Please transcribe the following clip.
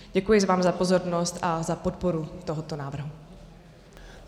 Děkuji vám za pozornost a za podporu tohoto návrhu.